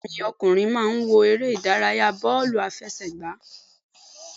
Bẹ́ẹ̀ni ẹ̀gbọ́n mi ọkùnrin máa ń wo eré Ìdárayá bóòlù àfẹsẹ̀gbá